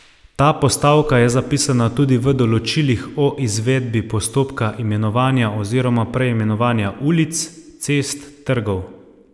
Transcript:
Ta postavka je zapisana tudi v določilih o izvedbi postopka imenovanja oziroma preimenovanja ulic, cest, trgov ...